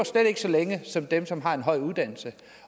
så længe som dem som har en høj uddannelse